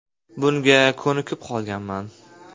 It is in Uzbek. Bunga ko‘nikib qolganman.